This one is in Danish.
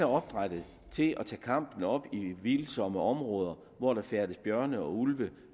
opdrættet til at tage kampen op i vildsomme områder hvor der færdes bjørne og ulve